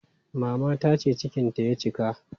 Mama ta ce cikinta ya cika.